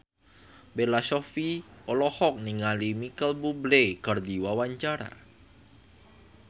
Bella Shofie olohok ningali Micheal Bubble keur diwawancara